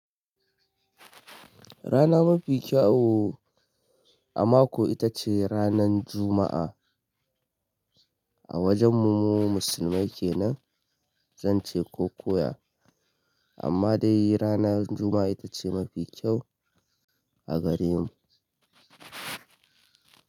Rana mafi kyau a mako itace ranan Juma'a. A wajen mu mu musulmai kenan, zan ce ko koya, amma dai ranan Juma'a itace mafi kyau a gare mu.